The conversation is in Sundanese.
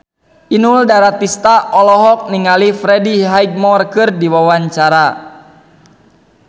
Inul Daratista olohok ningali Freddie Highmore keur diwawancara